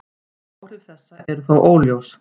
Áhrif þessa eru þó óljós.